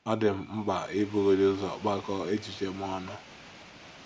Ọ dị m mkpa ibugodị ụzọ kpakọọ echiche m ọnụ! ’